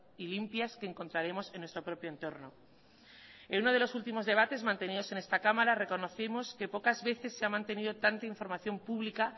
y limpias que encontraremos en nuestro propio entorno en uno de los últimos debates mantenidos en esta cámara reconocimos que pocas veces se ha mantenido tanta información pública